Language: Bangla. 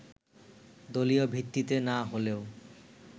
দলীয় ভিত্তিতে না হলেও